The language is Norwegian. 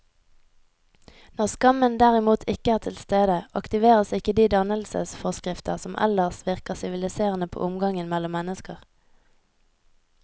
Når skammen derimot ikke er til stede, aktiveres ikke de dannelsesforskrifter som ellers virker siviliserende på omgangen mellom mennesker.